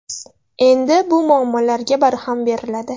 Endi bu muammolarga barham beriladi.